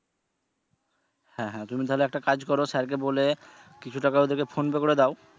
হ্যা হ্যা তুমি তাহলে একটা কাজ করো sir কে বলে কিছু টাকা ওদেরকে PhonePe করে দাও।